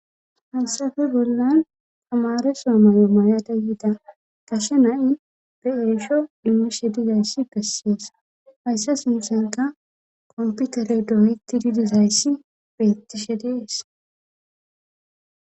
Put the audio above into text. Hasafe bollan amare somayo mayada yiida gashe na7i be7eesho immishe dizayssi bessees hayssa sinsanka komputere doyyti didizayssi beitishe dees.